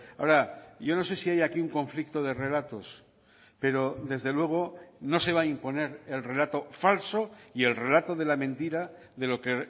ahora yo no sé si hay aquí un conflicto de relatos pero desde luego no se va a imponer el relato falso y el relato de la mentira de lo que